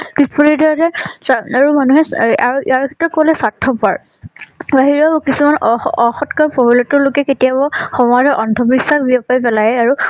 যে চাৰআৰু মানুহে আৰইয়াৰ ভিতৰত কলে স্বাৰ্থপৰ। বাহিৰৰ কিছুমান অঅঅসৎ লোকে কেতিয়াবা সমাজৰ অন্ধ বিশ্বাস বিয়পাই পেলাই আৰু